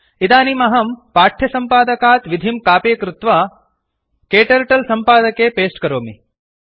इदानीम् अहं पाठ्यसम्पादकात् विधिं कापि कृत्वा क्टर्टल सम्पादके पेस्ट् करोमि